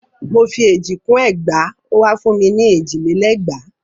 Mò fi èjì kún ẹgbàá ó wa fún ni èjì lé lẹ́gbàá.